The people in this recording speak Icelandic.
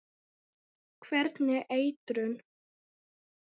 Hvernig eitrun?